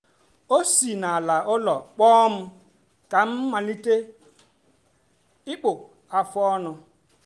ọ si n’ala ụlọ kpọọ m ka m malite ịkpụ afụ ọnụ.